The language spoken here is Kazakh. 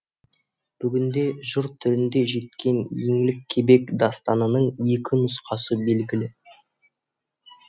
бүгінде жыр түрінде жеткен еңлік кебек дастанының екі нұсқасы белгілі